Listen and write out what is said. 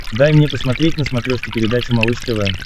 дай мне посмотреть на смотрешке передачу малыш тв